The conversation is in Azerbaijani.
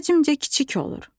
Həcmcə kiçik olur.